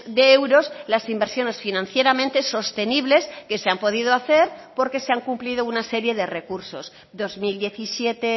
de euros las inversiones financieramente sostenibles que se han podido hacer porque se han cumplido una serie de recursos dos mil diecisiete